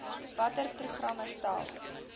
watter programme stel